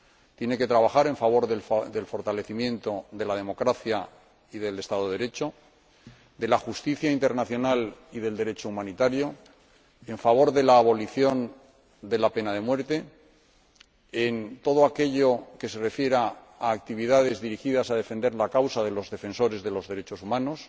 Tiene que trabajar en favor del fortalecimiento de la democracia y del Estado de Derecho, de la justicia internacional y del Derecho humanitario, en favor de la abolición de la pena de muerte, en todo aquello que se refiera a actividades dirigidas a defender la causa de los defensores de los derechos humanos,